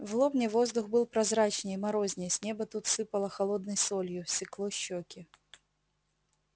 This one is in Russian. в лобне воздух был прозрачней морозней с неба тут сыпало холодной солью секло щеки